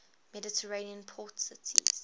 mediterranean port cities